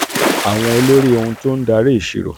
àwọn olórí ohun tó ń um dari ìṣirò